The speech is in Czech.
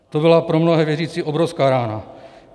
To byla pro mnohé věřící obrovská rána.